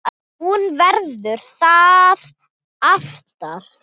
Hún verður það alltaf